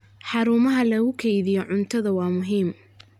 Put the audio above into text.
Xarumaha lagu kaydiyo cuntada waa muhiim.